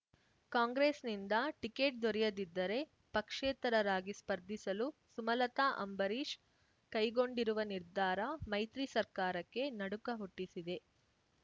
ಕಾಂಗ್ರೆಸ್‌ನಿಂದ ಟಿಕೇಟ್ ದೊರೆಯದಿದ್ದರೆ ಪಕ್ಷೇತರರಾಗಿ ಸ್ಪರ್ಧಿಸಲು ಸುಮಲತಾ ಅಂಬರೀಷ್ ಕೈಗೊಂಡಿರುವ ನಿರ್ಧಾರ ಮೈತ್ರಿ ಸರ್ಕಾರಕ್ಕೆ ನಡುಕ ಹುಟ್ಟಿಸಿದೆ